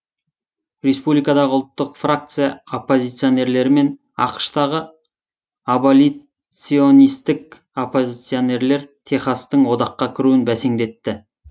республикадағы ұлттық фракция оппозиционерлері мен ақш тағы аболиционистік оппозиционерлер техастың одаққа кіруін бәсеңдетті